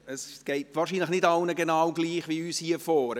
Es geht wohl nicht allen gleich wie uns hier vorne.